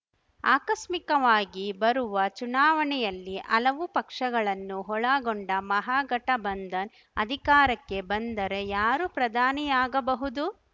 ಆಕಸ್ಮಿಕವಾಗಿ ಬರುವ ಚುನಾವಣೆಯಲ್ಲಿ ಹಲವು ಪಕ್ಷಗಳನ್ನು ಒಳಗೊಂಡ ಮಹಾಗಠಬಂಧನ್‌ ಅಧಿಕಾರಕ್ಕೆ ಬಂದರೆ ಯಾರು ಪ್ರಧಾನಿಯಾಗಬಹುದು